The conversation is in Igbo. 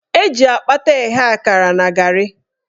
Eji akpata eghe akara na garị.